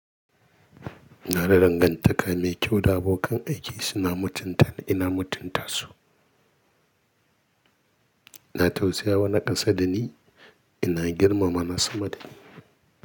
Ina da dangantaka mai kyau da abokan aiki, suna mutunta ni, ina mutunta su. Na tausaya wa na kasa da ni, ina girmama na sama da ni.